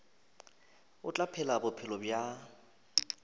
o tla phela bophelo bja